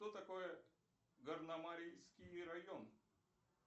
что такое горномарийский район